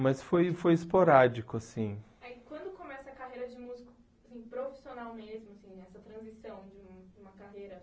mas foi foi esporádico assim. Quando começa a carreira de músico assim profissional mesmo assim, essa transição de um uma carreira?